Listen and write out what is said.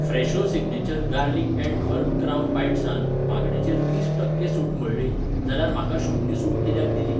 Fresho signature garlic and herb crouton बायटसान मागणेचेर तीस टक्के सूट म्हळ्ळी जाल्यार म्हाका शून्य सूट कित्याक दिली ?